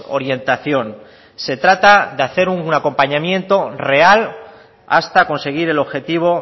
orientación se trata de hacer un acompañamiento real hasta conseguir el objetivo